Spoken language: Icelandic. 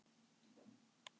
Þar eru skrifstofur núna.